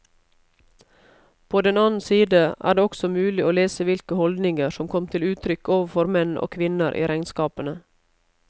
På den annen side er det også mulig å lese hvilke holdninger som kom til uttrykk overfor menn og kvinner i regnskapene.